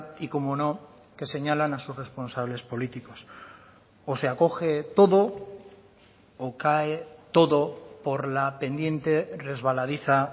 y como no que señalan a sus responsables políticos o se acoge todo o cae todo por la pendiente resbaladiza